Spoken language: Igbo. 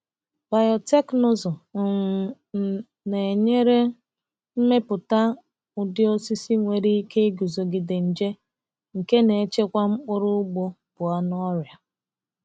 Biotekịnụzụ um n na-enyere imepụta ụdị osisi nwere ike iguzogide nje, nke na-echekwa mkpụrụ ugbo pụọ na ọrịa.